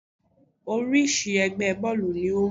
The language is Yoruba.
Oríṣi ẹgbẹ́ bọ́ọ̀lù ni ó wà.